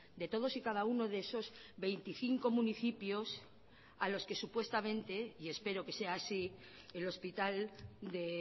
de todos y cada uno de esos veinticinco municipios a los que supuestamente y espero que sea así el hospital de